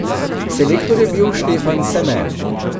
Selektor je bil Štefan Seme.